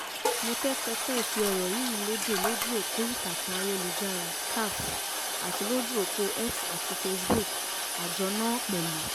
mòtẹpẹpẹ fi ọ̀rọ̀ yìí lédè lójú ọ̀pọ̀ ìtàkùn ayélujára caf àti lójú ọ̀pọ̀ x àti facebook àjọ náà pẹ̀lú